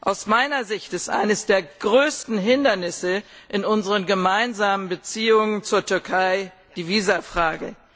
Aus meiner Sicht ist eines der größten Hindernisse in unseren gemeinsamen Beziehungen zur Türkei die Visafrage.